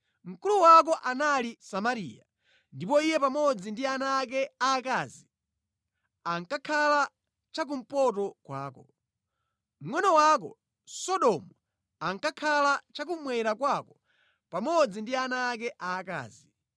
Mkulu wako anali Samariya, ndipo iye pamodzi ndi ana ake aakazi ankakhala cha kumpoto kwako. Mngʼono wako, Sodomu ankakhala cha kummwera kwako pamodzi ndi ana ake aakazi.